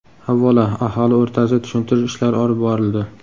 Avvalo, aholi o‘rtasida tushuntirish ishlari olib borildi.